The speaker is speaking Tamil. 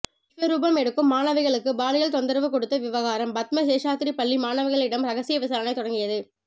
விஸ்வரூபம் எடுக்கும் மாணவிகளுக்கு பாலியல் தொந்தரவு கொடுத்த விவகாரம் பத்மா சேஷாத்திரி பள்ளி மாணவிகளிடம் ரகசிய விசாரணை தொடங்கியது